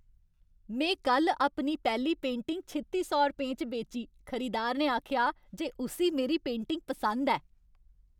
में कल्ल अपनी पैह्ली पेंटिंग छित्ती सौ रपेंऽ च बेची। खरीदार ने आखेआ जे उस्सी मेरी पेंटिंग पसंद ऐ!